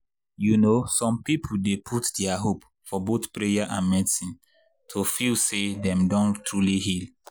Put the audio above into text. you know some people dey put their hope for both prayer and medicine to feel say dem don truly heal.